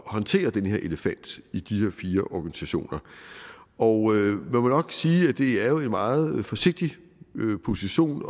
at håndtere den her elefant i de her fire organisationer og man må nok sige at det er en meget forsigtig position